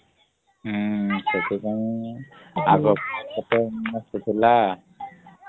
ଉଁ ସେଥିପାଇଁ